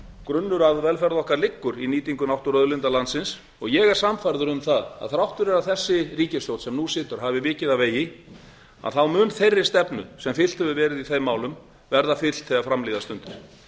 grunnur að velferð okkar liggur í nýtingu náttúruauðlinda landsins og ég er sannfærður um það að þrátt fyrir að þessi ríkisstjórn sem nú situr hafi vikið af vegi þá mun þeirri stefnu sem fylgt hefur verið í þeim málum verða fylgt þegar fram líða stundir